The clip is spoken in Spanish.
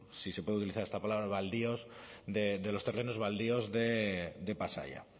si se puede utilizar esta palabra baldíos de los terrenos baldíos de pasaia